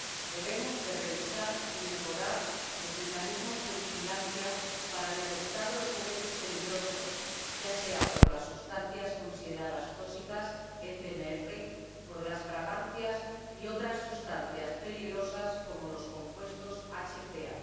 Debemos revisar y mejorar los mecanismos de vigilancia para detectar los juguetes peligrosos, ya sea por las sustancias consideradas tóxicas ―sustancias CMR―, por las fragancias o por otras sustancias peligrosas, como los compuestos HPA.